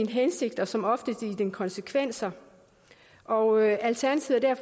hensigt og som oftest i konsekvens og alternativet er